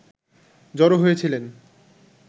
জড়ো হয়েছিলেন